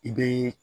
I bɛ